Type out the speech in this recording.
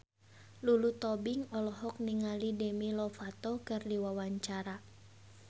Lulu Tobing olohok ningali Demi Lovato keur diwawancara